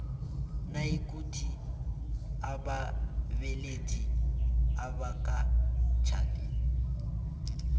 nayikuthi ababelethi abakatjhadi